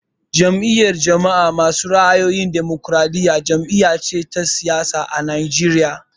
Jam'iyar jama'a masu ra'ayin damokaraɗiya jam'iya ce ta siyasa a Najeriya